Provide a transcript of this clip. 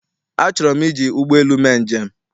Achọrọ m iji ụgbọelu mee njem.